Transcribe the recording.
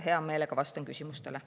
Hea meelega vastan küsimustele.